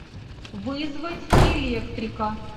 вызвать электрика